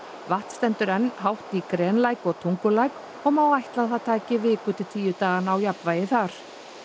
vatn stendur enn hátt í grenlæk og Tungulæk og má ætla að það taki viku tíu daga að ná jafnvægi þar